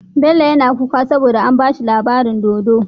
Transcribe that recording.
Bello yAna kuka saboda an bashi labarin dodo